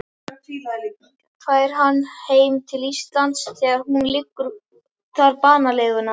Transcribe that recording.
Fær hann heim til Íslands þegar hún liggur þar banaleguna.